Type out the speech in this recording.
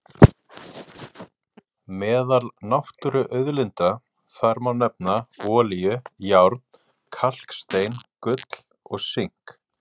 Meðal náttúruauðlinda þar má nefna olíu, járn, kalkstein, gull og sink.